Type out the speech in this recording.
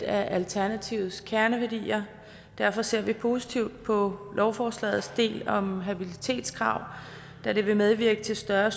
af alternativets kerneværdier derfor ser vi positivt på lovforslagets del om habilitetskrav da det vil medvirke til større